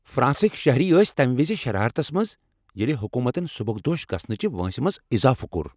فرانسٕکۍ شہری ٲسۍ تمہ وز شرارتس منٛز ییٚلہ حکوٗمتن سبکدوش گژھنہٕ چہ وٲنٛسہ منٛز اضافہٕ کوٚر۔